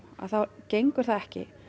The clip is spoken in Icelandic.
þá gengur það ekki